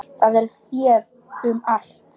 Það er séð um allt.